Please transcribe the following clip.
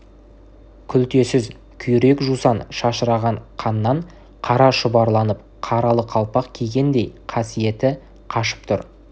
күлтесіз күйрек-жусан шашыраған қаннан қара шұбарланып қаралы қалпақ кигендей қасиеті қашып тұр